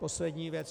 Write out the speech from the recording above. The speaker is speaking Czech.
Poslední věc.